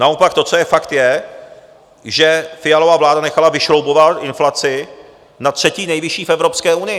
Naopak to, co je fakt, je, že Fialova vláda nechala vyšroubovat inflaci na třetí nejvyšší v Evropské unii.